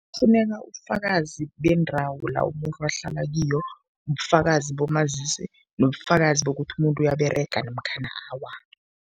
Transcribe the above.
Kufuneka ubufakazi bendawo la umuntu ahlala kiyo, ubufakazi bomazisi nobufakazi bokuthi umuntu uyaberega namkhana awa.